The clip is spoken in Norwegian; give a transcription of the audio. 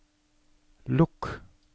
lukk